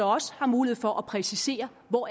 også mulighed for at præcisere hvor